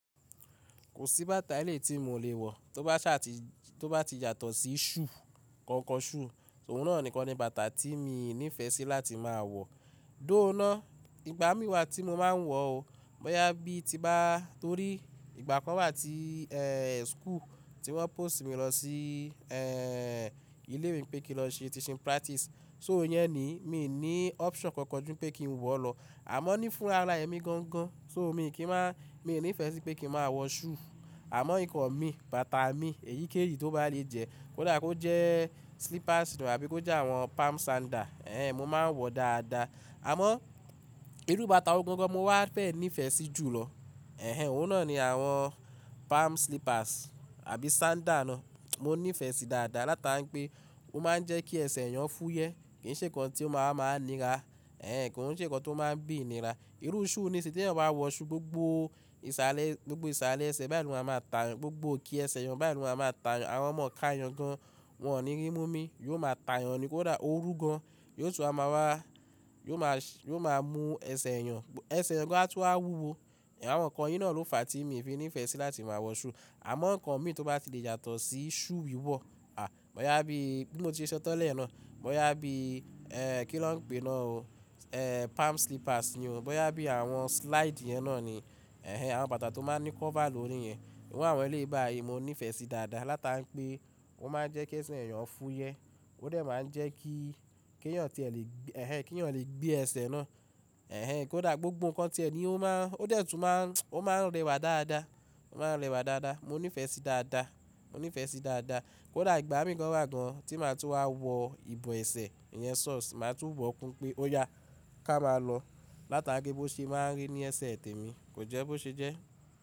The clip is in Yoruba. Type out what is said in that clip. Kò sí bàtà ẹlẹ́ tí mi ò lè wọ̀ tó bá ti yàtọ̀ sí shoe koko sù, òun náà nìkan ni bàtà tí mi ní ìfẹ́ sí láti máa wọ̀. Though ná ìgbà mí wà tí mo máa ń wọ̀ ọ́, bọ́yá bí tí bá torí ìgbà kan wà tí eeh school tí wọ́n post mi lọ sí eeh ilé ìwé pé kí n lọ ṣe teaching practice, so ìyẹn ni, mi ò ní option kankan jù pé kí n wọ̀ lọ. Àmọ́ ní fún ara ẹmi gangan, so mi ò ní kí máa, mi ò ní ìfẹ́ sí pé kí n máa wọ shoe. Àmọ́ nǹkan mi, bàtà mi, èyíkéyìí tó bá lè jẹ, kó dà kó jẹ slippers àbí kó jẹ àwọn palm sandal, ehen mo máa ń wọ̀ dáadáa. Àmọ́ irú bàtà wò gangan mo wá fẹ̀ ní ìfẹ́ sí jùlọ, ehen òun náà ni àwọn palm slippers àbí sandal náà. Mo ní ìfẹ́ sí dáadáa láta n pé ó máa ń jẹ́ kí ẹsẹ̀ èèyàn fú yẹ, kì í ṣe nǹkan tí ó máa máa nira, ehen kì í ṣe nǹkan tó máa ń bí ìnira. Irú shoe ni sí tí ẹyan bá wọ shoe gbogbo ìsàlẹ̀, gbogbo ìsàlẹ̀ ẹsẹ̀ báyìí ni o má máa ta èèyàn, gbogbo òkè ẹsẹ̀ èèyàn bá ẹ li o má máa ta èèyàn. Àwọn ọmọ ká èèyàn gan, wọ́n ò ní rí mú mí, yóò máa ta èèyàn nìkan kó dà ó rú gan, yóò tún á máa wá, yóò máa, yóò máa mu ẹsẹ̀ èèyàn, ẹsẹ̀ èèyàn gan a tu wá wúwo. Àwọn nǹkan yìí náà ló fà tí mi fi ní ìfẹ́ sí láti máa wọ shoe. Àmọ́ nǹkan mi tó bá ti lè yàtọ̀ sí shoe wíwọ̀, à bọ́yá bí bí mo ti ṣe sọ tọ́lẹ̀ náà, bọ́yá bí eeh kí ló ń pè náà o eeh palm slippers ni o, bọ́yá bí àwọn slide yẹn náà ni, ehen àwọn bàtà tó máa ń ní cover lórí yẹn, ìwọ àwọn eléyii bàyii, mo ní ìfẹ́ sí dáadáa láta n pé ó máa ń jẹ́ kí ẹsẹ̀ èèyàn fú yẹ, ó dẹ̀ máa ń jẹ́ kí kí èèyàn tí ẹ lè gbé, ehen kí èèyàn lè gbé ẹsẹ̀ náà, ehen kó dà gbogbo nǹkan tí ẹ ni ó máa, ó dẹ̀ tún máa ń, ó máa rẹwà dáadáa, ó máa ń rẹwà dáadáa. Mo ní ìfẹ́ sí dáadáa, mo ní ìfẹ́ sí dáadáa. Kó dà ìgbà mí kan wà gan tí màá tún wá wọ ìbọ ẹsẹ̀, ìyẹn socks, màá tún bọ́ọ̀ kún pé ó yà ká máa lọ láta n pé bó ṣe máa ń rí ní ẹsẹ̀ tè mi kò jẹ́ bó ṣe jẹ́.